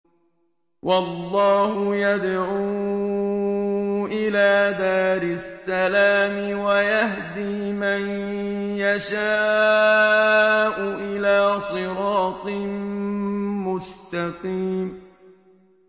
وَاللَّهُ يَدْعُو إِلَىٰ دَارِ السَّلَامِ وَيَهْدِي مَن يَشَاءُ إِلَىٰ صِرَاطٍ مُّسْتَقِيمٍ